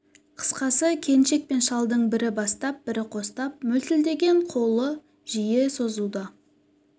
қысқасы келіншек пен шалдың бірі бастап бірі қостап мөлтілдеген қол жиі созылуда